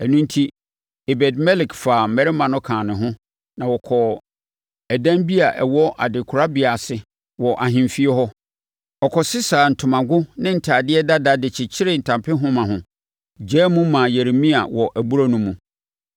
Ɛno enti, Ebed-Melek faa mmarima no kaa ne ho, na wɔkɔɔ ɛdan bi a ɛwɔ adekorabea ase, wɔ ahemfie hɔ. Ɔkɔsesaa ntomago ne ntadeɛ dada de kyekyeree ntampehoma ho, gyaa mu maa Yeremia wɔ abura no mu.